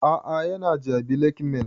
A'a ya na jabi lake mall